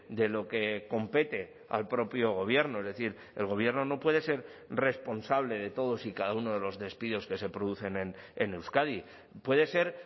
de lo que compete al propio gobierno es decir el gobierno no puede ser responsable de todos y cada uno de los despidos que se producen en euskadi puede ser